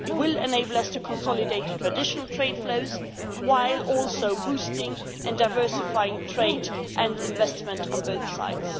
It will enable us to consolidate traditional trade flows while also boosting and diversifying trade and investment on both sides.